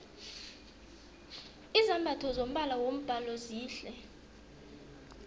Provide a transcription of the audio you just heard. izambatho zombala wombhalo zihle